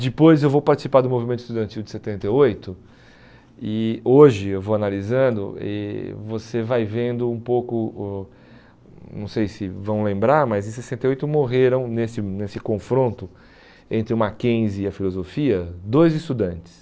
Depois eu vou participar do movimento estudantil de setenta e oito e hoje eu vou analisando e você vai vendo um pouco, o não sei se vão lembrar, mas em sessenta e oito morreram nesse nesse confronto entre o Mackenzie e a filosofia, dois estudantes.